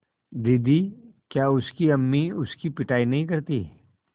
दीदी क्या उसकी अम्मी उसकी पिटाई नहीं करतीं